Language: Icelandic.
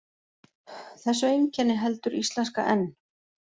Þessu einkenni heldur íslenska enn.